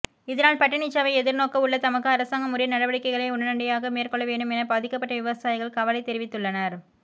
இதனால் பட்டினிச்சாவை எதிர்நோக்கவுள்ள தமக்கு அரசாங்கம் உரிய நடவடிக்கைகளை உடனடியாக மேற்கொள்ள வேண்டும் என பாதிக்கப்பட்ட விவசாயிகள் கவலை தெரிவித்துள்ளனர்